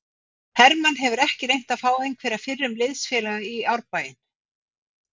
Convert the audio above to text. Hermann hefur ekki reynt að fá einhverja fyrrum liðsfélaga í Árbæinn?